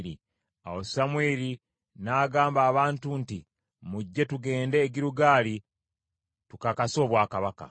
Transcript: Awo Samwiri n’agamba abantu nti, “Mujje, tugende e Girugaali tukakase obwakabaka.”